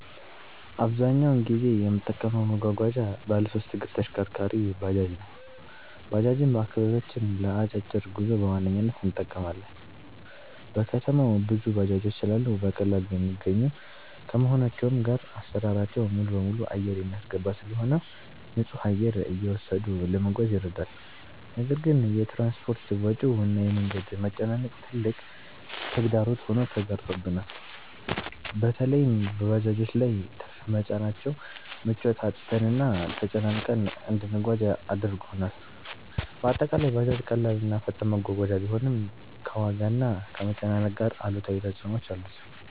አብዛኛውን ጊዜ የምጠቀመው መጓጓዣ ባለሶስት እግር ተሽከርካሪ(ባጃጅ) ነው። ባጃጅን በአከባቢያችን ለ አጫጭር ጉዞ በዋነኝነት እንጠቀማለን። በከተማው ብዙ ባጃጆች ስላሉ በቀላሉ የሚገኙ ከመሆናቸውም ጋር አሰራራቸው ሙሉበሙሉ አየር የሚያስገባ ስለሆነ ንፁህ አየር እየወሰዱ ለመጓዝ ይረዳል። ነገር ግን የ ትራንስፖርት ወጪው እና የ መንገድ መጨናነቅ ትልቅ ተግዳሮት ሆኖ ተጋርጦብናል። በለይም በባጃጆች ላይ ትርፍ መጫናቸው ምቾት አጥተንና ተጨናንቀን እንድንጓጓዝ አድርጎናል። በአጠቃላይ ባጃጅ ቀላል እና ፈጣን መጓጓዣ ቢሆንም፣ ከዋጋና ከመጨናነቅ ጋር አሉታዊ ተፅዕኖዎች አሉት።